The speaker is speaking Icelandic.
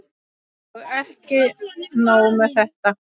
Og ekki nóg með þetta.